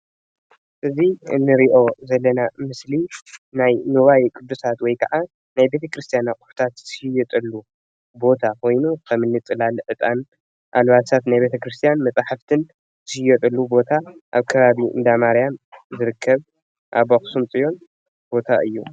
እዚ እንሪኦ ዘለና ምስሊ ናይ ኑዋየ ቅዱሳት ወይ ከዓ ናይ ቤተ ክርስትያን እቕሑታት ዝሽየጠሉ ቦታ ኮይኑ ከም ፅላል ፣ዕጣን ፣ኣልባሳት ንቤተክርስትያን መፃሕፍትን ዝሽየጠሉ ቦታ ኣብ ከባቢ እንዳማርያም ዝርከብ ኣብ ኣክሱም ፅዮን ቦታ እዩ።